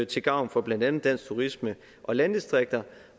til gavn for blandt andet dansk turisme og landdistrikter